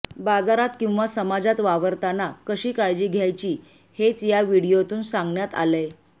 बाजारात किंवा समाजात वावरताना कशी काळजी घ्यायची हेच या व्हिडिओतून सांगण्यात आलंय